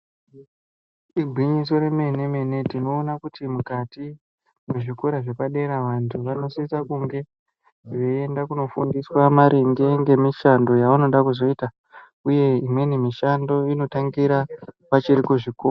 Igwinyiso reme-mene tinoona kuti mukati mezvikora zvepadera vantu vanosisa kunge veienda kunofundiswa maringe ngemishando yavanoda kuzoita ,uye imweni mishando inotangira vachiri kuzvikora.